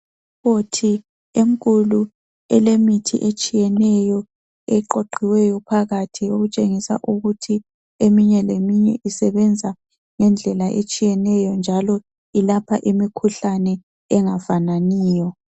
Ikhabothi enkulu elemithi etshiyeneyo eqoqiweyo phakathi etshengisa ukuthi eminye leminye isebenza ngendlela etshiyeneyo njalo ilapha imikhuhlane engafananiyo.